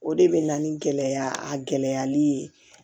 O de bɛ na ni gɛlɛya a gɛlɛyali ye